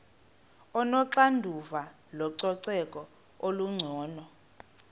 onoxanduva lococeko olungcono